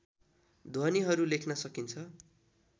ध्वनिहरू लेख्न सकिन्छ